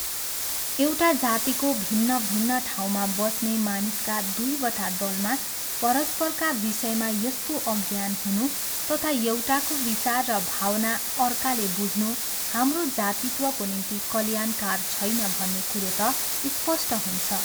एउटा जातिको भिन्न भिन्न ठाउँमा बस्ने मानिसका दुईवटा दलमा परस्परका विषयमा यस्तो अज्ञान हुनु तथा यौटाको विचार र भावना अर्काले बुझ्नु हाम्रो जातित्वको निम्ति कल्याणकर छैन भन्ने कुरो त स्पष्ट हुन्छ।